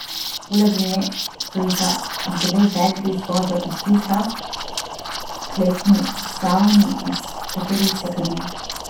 Poleg nje stojita dve vedri z vodo iz tuša v kletni savni, iz katerih se kadi.